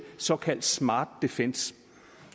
såkaldt smart defence